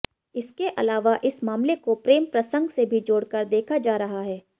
इसके अलावा इस मामले को प्रेम प्रसंग से भी जोड़कर देखा जा रहा है